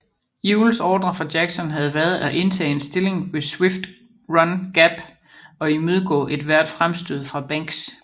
Ewells ordrer fra Jackson havde været at indtage en stilling ved Swift Run Gap og imødegå ethvert fremstød fra Banks